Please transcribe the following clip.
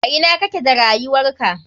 A ina kake da rayuwarka?